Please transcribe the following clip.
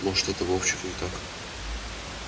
может этот вовчик не так уж и не прав